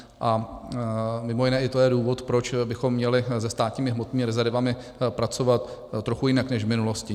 A mimo jiné i to je důvod, proč bychom měli se státními hmotnými rezervami pracovat trochu jinak než v minulosti.